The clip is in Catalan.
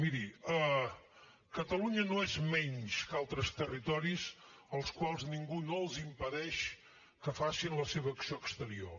miri catalunya no és menys que altres territoris als quals ningú no els impedeix que facin la seva acció exterior